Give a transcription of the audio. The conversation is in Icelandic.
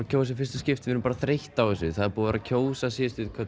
kjósa í fyrsta skipti við erum bara þreytt á þessu það er búið að kjósa síðustu